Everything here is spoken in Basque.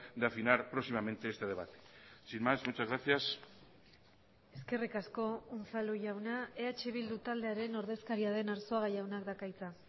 de afinar próximamente este debate sin más muchas gracias eskerrik asko unzalu jauna eh bildu taldearen ordezkaria den arzuaga jaunak dauka hitza